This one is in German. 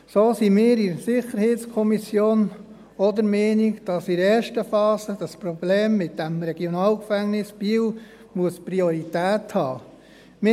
So sind wir in der SiK auch der Meinung, dass in der ersten Phase das Problem mit dem Regionalgefängnis (RG) Biel Priorität haben muss.